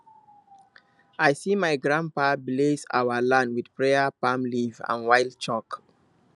i see my grandpapa bless our land with prayer palm leaf and white chalk